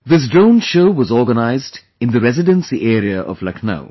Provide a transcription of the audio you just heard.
This drone show was organized in the Residency area of Lucknow